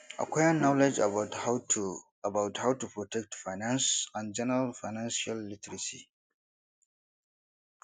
acquire knowledge about how to about how to protect finance and general financial literacy